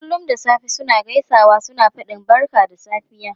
Kullum da safe suna gaisawa suna fadin barka da safiya.